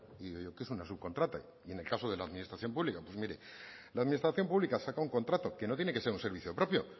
y digo qué es una subcontrata y en el caso de la administración pública pues mire la administración pública saca un contrato que no tiene que ser un servicio propio